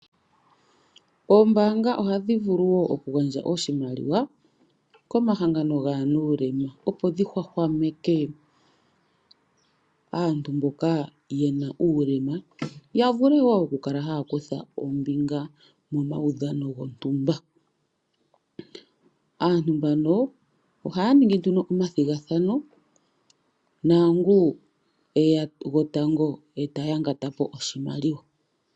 Ombaanga ohadhi vulu wo okugandja oshimaliwa komahangano gaanuulema, opo dhi hwahwameke aantu mboka yena uulema ya vule wo okukala haya kutha ombinga momaudhano gontumba. Aantu mbano ohaya ningi nduno omathigathano naangu eya gwotango eta yangata po oshimaliwa.